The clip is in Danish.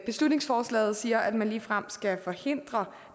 beslutningsforslaget siger at man ligefrem skal forhindre